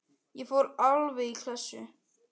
Ég fór alveg í klessu.